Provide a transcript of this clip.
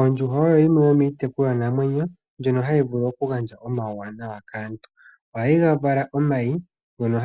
Ondjuhwa oyo yimwe yo miitekulwanamwenyo, ndjono ha yi vulu oku gandja omauwanawa kaantu. Oha yi vala omayi, ngono